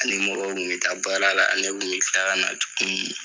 Ani mɔgɔ mun bɛ taa baara la ani